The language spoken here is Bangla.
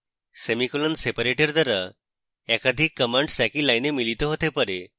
semicolon separators দ্বারা একাধিক commands একই line মিলিত হতে পারে